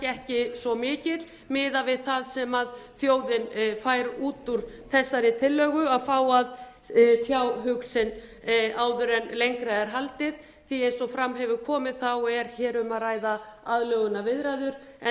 ekki svo mikill miðað við það sem þjóðin fær út úr þessari tillögu að fá að tjá hug sinn áður en lengra er haldið því að eins og fram hefur komið er hér um að ræða aðlögunarviðræður en